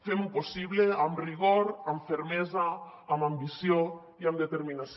fem ho possible amb rigor amb fermesa amb ambició i amb determinació